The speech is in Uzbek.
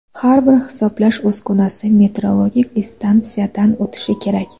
Har bir hisoblash uskunasi metrologik instansiyadan o‘tishi kerak.